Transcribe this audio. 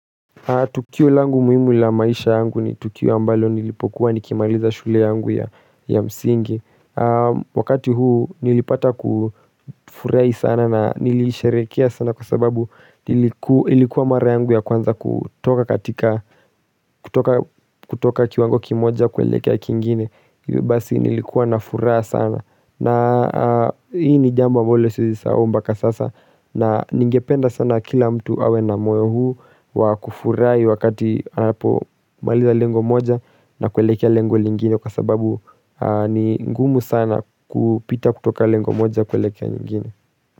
Tukio langu muhimu la maisha yangu ni tukio ambalo nilipokuwa nikimaliza shule yangu ya msingi Wakati huu nilipata kufurahi sana na nilisherehekea sana kwa sababu ilikuwa mara yangu ya kwanza kutoka katika, kutoka kutoka kiwango kimoja kuelekea kingine Basi nilikuwa na furaha sana, na hii ni jambo ambalo siezi sahau mpaka sasa na ningependa sana kila mtu awe na moyo huu wa kufurahi wakati anapomaliza lengo moja na kuelekea lengo lingine kwa sababu ni ngumu sana kupita kutoka lengo moja kuelekea nyingine.